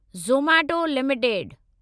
Zomato limited